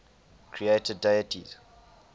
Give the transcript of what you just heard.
creator deities